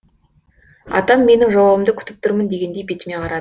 атам менің жауабымды күтіп тұрмын дегендей бетіме қара